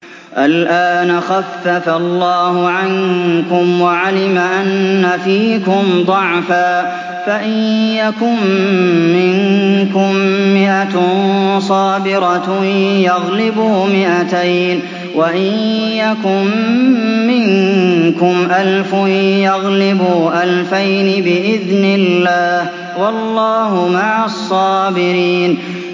الْآنَ خَفَّفَ اللَّهُ عَنكُمْ وَعَلِمَ أَنَّ فِيكُمْ ضَعْفًا ۚ فَإِن يَكُن مِّنكُم مِّائَةٌ صَابِرَةٌ يَغْلِبُوا مِائَتَيْنِ ۚ وَإِن يَكُن مِّنكُمْ أَلْفٌ يَغْلِبُوا أَلْفَيْنِ بِإِذْنِ اللَّهِ ۗ وَاللَّهُ مَعَ الصَّابِرِينَ